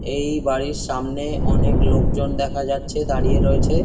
এই বাড়ির সামনে অনেক লোকজন দেখা যাচ্ছে দাড়িয়ে রয়েছে।